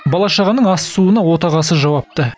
бала шағаның ас суына отағасы жауапты